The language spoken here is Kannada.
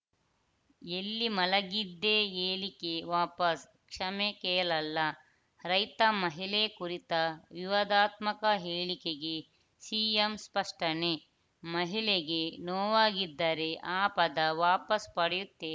ಎಲ್ಲಿ ಮಲಗಿದ್ದೆ ಹೇಳಿಕೆ ವಾಪಸ್‌ ಕ್ಷಮೆ ಕೇಳಲ್ಲ ರೈತ ಮಹಿಳೆ ಕುರಿತ ವಿವಾದಾತ್ಮಕ ಹೇಳಿಕೆಗೆ ಸಿಎಂ ಸ್ಪಷ್ಟನೆ ಮಹಿಳೆಗೆ ನೋವಾಗಿದ್ದರೆ ಆ ಪದ ವಾಪಸ್‌ ಪಡೆಯುತ್ತೇನೆ